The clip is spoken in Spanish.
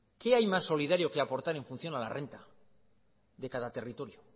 qué hay más solidario que aportar en función a la renta de cada territorio